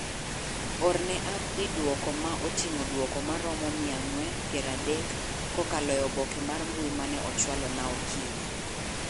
Orne Abdi duoko ma otingo duoko maromo mia ang'wen piero adek kakalo e obke mar mbui mane ochwalo na oikinyi